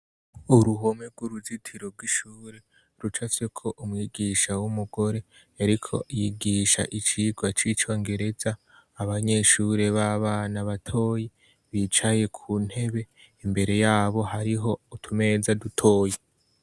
Uruhome rw'uruzitiro bw'ishure ruca soko umwigisha w'umugore, ariko yigisha icirwa c'ico ngereza abanyeshure b'abana batoye bicaye ku ntebe imbere yabo hariho utumeza dutoye.